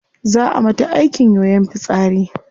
Zaa a mata aikin yoyon fitsari